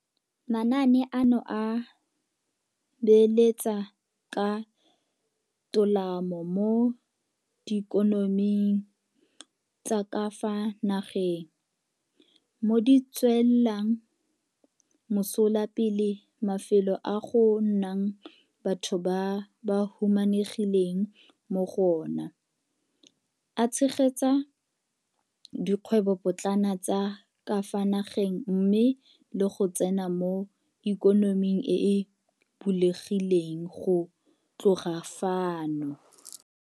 Manaane ano a beeletsa ka tolamo mo diikonoming tsa ka fa nageng, mo di tswelang mosola pele mafelo a go nnang batho ba ba humanegileng mo go ona, a tshegetsa dikgwebopotlana tsa ka fa nageng mmogo le go tsena mo ikonoming e e bulegileng go tloga fano.